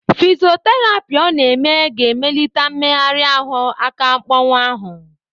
Fisoterapi ọ na-eme ga-emelite mmegharị ahụ aka mpọwụ ahụ ya.